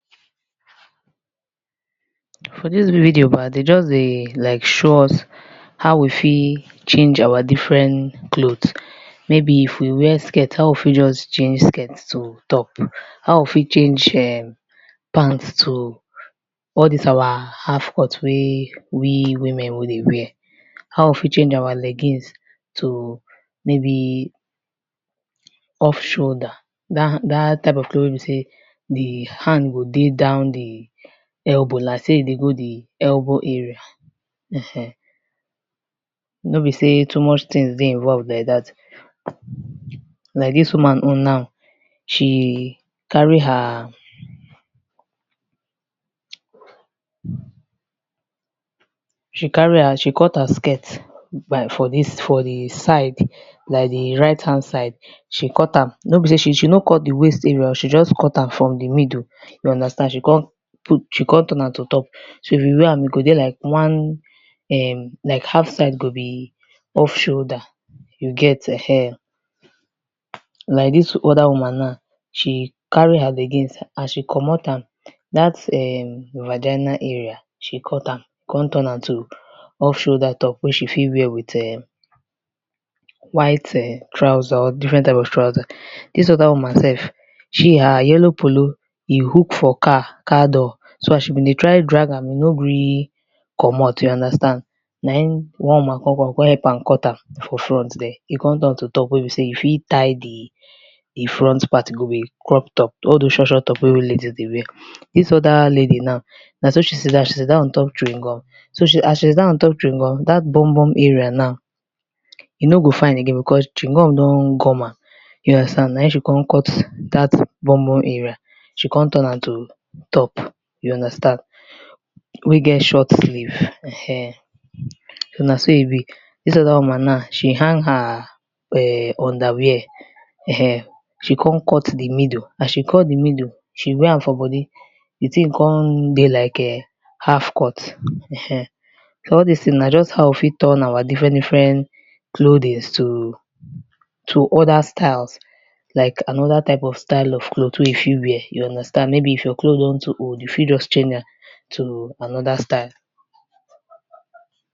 For di video dem just dey show us like how we fit change our different clothes, if we wear skrit how we fit just change skirt to top, how we fit change pant to all dis our half cut wey e women we dey wear, how we fit change our leggings to maybe off shoulder dat type of clothe wey di hand go dey down di elbow like sey e dey go di elbow area ehen. No be sey too much things dey involved like dat sha oh, like dis woman own na, she carry he, she carry her she cut her skirt by for dis, for dis, for di side by di right hand side she cut am, nor be sey she she no cut di waist area oh, she just cut am from di middle, she come put she come turn am to top, so if you waer am e go dey like [urn] like half side go be off shoulder you get ehen, like dis oda woman na she carry her leggings as she komot am na, dat [urn] virgina area she cut am, come turn am to off shoulder wey you fit wear with [urn] white trouser or different type of trouser dis oda woman sef, she her yellow polo e hook for car car door so as she been dey try drag am, e no gree komot you understand na im one woman come come come help am cut am for front there na im e come turn to top wey be sey you fit tie di front part e go be crop top, all doz short short top wey we ladies dey wear. Dis oda lady now na so she sit down, she sit down on top chewing gum so as she sit dowm on top chewing gum, dat bombom area na e no go fine again, because di chewing gum don gum am na im she come cut dat bombom area she come turn am to top you understand, wey get short sleeve ehen, so na so e be dis oda woman na she hang her underwear she come cut di middle, as she cut di middle, she wear am for body di thing come dey like [urn] half cut ehen so all dis thing na how we fit turn our different different clothing’s to oda styles, like another style of clothe wey you fit waer, you understand like if your clothe don old you fit just change am to another style.